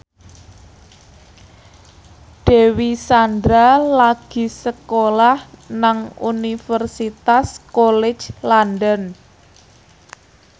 Dewi Sandra lagi sekolah nang Universitas College London